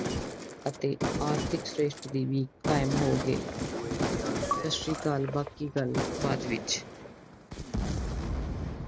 ਅਤੇ ਆਰਥਿਕ ਸ਼੍ਰੇਸ਼ਠ ਦੀ ਵੀ ਹੋਗਈ ਸਾਸਰੀਕਾਲ ਬਾਕੀ ਗੱਲ ਬਾਅਦ ਵਿਚ